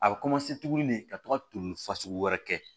A bɛ tugun de ka to ka toli fasugu wɛrɛ kɛ